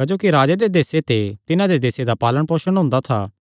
क्जोकि राजे दे देसे ते तिन्हां दे देसे दा पालणपोसण हुंदा था